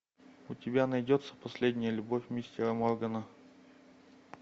у тебя найдется последняя любовь мистера моргана